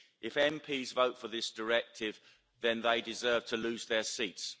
If MEPs vote for this directive, then they deserve to lose their seats.